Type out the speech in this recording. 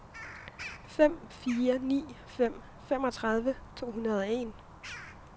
fem fire ni fem femogtredive to hundrede og en